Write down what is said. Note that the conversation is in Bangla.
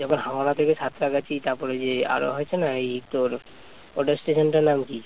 যখন হাওড়া থেকে সাতরাগাছি তারপর ওই যে আরো আছে না ওই তোর ওটার স্টেশন টার নাম কি